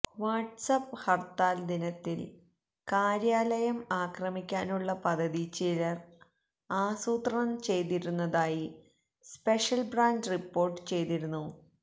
WhatsApp ഹര്ത്താല് ദിനത്തില് കാര്യാലയം ആക്രമിക്കാനുള്ള പദ്ധതി ചിലര് ആസൂത്രണം ചെയ്തിരുന്നതായി സ്പെഷ്യല് ബ്രാഞ്ച് റിപ്പോര്ട്ട് ചെയ്തിരുന്നു